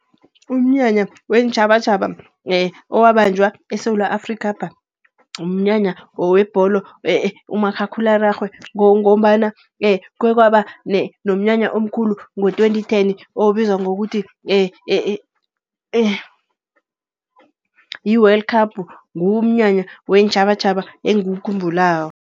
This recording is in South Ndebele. Umnyanya weentjhabatjhaba owabanjwa eSewula Afrikhapha, mnyanya webholo umakhakhulararhwe. Ngombana khekwaba nomnyanya omkhulu ngo-twenty ten, obizwa ngokuthi yi-World Cup ngiwo umnyanya weentjhabatjhaba engiwukhumbulako.